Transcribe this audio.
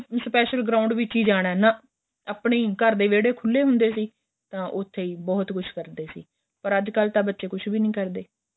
special ground ਵਿੱਚ ਏ ਜਾਣਾ ਨਾ ਆਪਣੇਂ ਘਰ ਦੇ ਵੇਹੜੇ ਖੁੱਲੇ ਹੁੰਦੇ ਸੀ ਤਾਂ ਉਥੇ ਹੀ ਬਹੁਤ ਕੁੱਛ ਕਰਦੇ ਸੀ ਪਰ ਅੱਜ ਕੱਲ ਤਾਂ ਬੱਚੇ ਕੁੱਛ ਵੀ ਨਹੀਂ ਕਰਦੇ